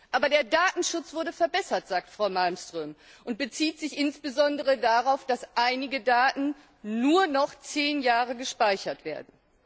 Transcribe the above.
Aber der Datenschutz wurde verbessert, sagt Frau Malmström und bezieht sich insbesondere darauf, dass einige Daten nur noch 10 Jahre gespeichert werden.